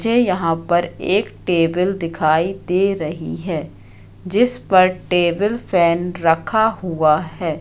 मुझे यहां पर एक टेबल दिखाई दे रही है जिस पर टेबल फैन रखा हुआ है।